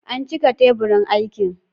An cika teburin aikin.